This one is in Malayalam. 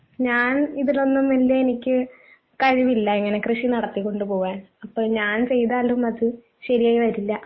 ഞാൻ ഇതിലൊന്നും വല്യ എനിക്ക് കഴിവില്ല ഇങ്ങനെ കൃഷി നടത്തിക്കൊണ്ട് പോവാൻ അപ്പൊ ഞാൻ ചെയ്താലും അത് ശരിയായി വരില്ല.